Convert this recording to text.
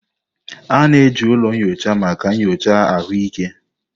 A na-eji ụlọ nyocha maka nyocha ahụike.